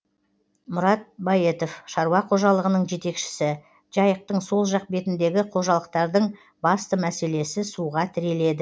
мұрат баетов шаруа қожалығының жетекшісі жайықтың сол жақ бетіндегі қожалықтардың басты мәселесі суға тіреледі